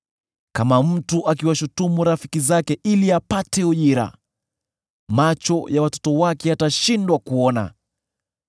Kama mtu akiwashutumu rafiki zake ili apate ujira, macho ya watoto wake yatashindwa kuona.